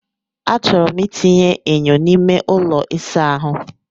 Achọrọ m itinye enyo n'ime ụlọ ịsa ahụ.